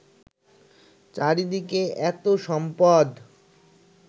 চারিদিকে এত সম্পদ